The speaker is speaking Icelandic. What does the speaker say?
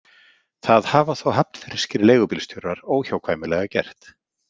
Það hafa þó hafnfirskir leigubílstjórar óhjákvæmilega gert.